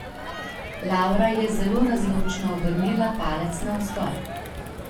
Lavra je zelo razločno obrnila palec navzgor.